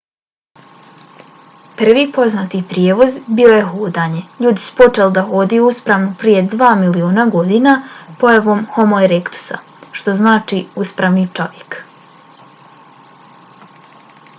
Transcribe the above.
prvi poznati prijevoz bilo je hodanje ljudi su počeli da hodaju uspravno prije dva miliona godina pojavom homo erektusa što znači uspravni čovjek